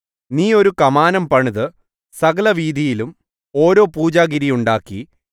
നീ ഒരു കമാനം പണിത് സകലവീഥിയിലും ഓരോ പൂജാഗിരി ഉണ്ടാക്കി